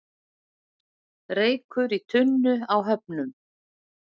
Reykur í tunnu í Höfnum